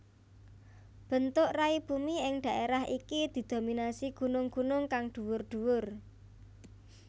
Bentuk rai bumi ing dhaerah iki didominasi gunung gunung kang dhuwur dhuwur